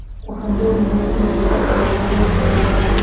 Waxaan doonayaa inaan lacag helo wiilkayga.